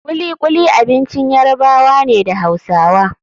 Kulikuli abincin Yarabawa ne da Hausawa.